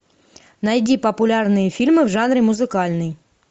найди популярные фильмы в жанре музыкальный